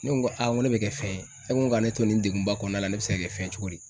Ne ko ŋo ŋo ne bɛ kɛ fɛn ye, ne ko k'a ne to nin degunba kɔɔna la ne bɛ se ka kɛ fɛn cogo di?